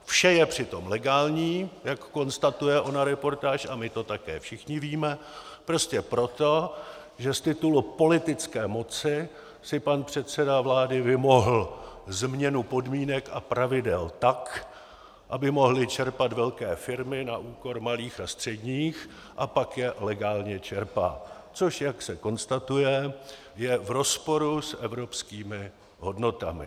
Vše je přitom legální, jak konstatuje ona reportáž, a my to také všichni víme, prostě proto, že z titulu politické moci si pan předseda vlády vymohl změnu podmínek a pravidel tak, aby mohly čerpat velké firmy na úkor malých a středních, a pak je legálně čerpá, což - jak se konstatuje - je v rozporu s evropskými hodnotami.